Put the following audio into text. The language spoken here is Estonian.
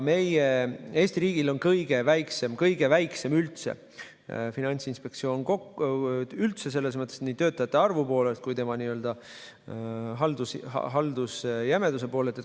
Meil, Eesti riigil on kõige väiksem Finantsinspektsioon üldse, nii töötajate arvu kui ka haldusjämeduse poolest.